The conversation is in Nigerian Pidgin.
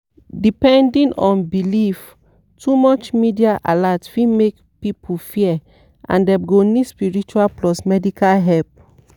depending on belief too much media alert fit make people fear and dem go need spiritual plus medical help.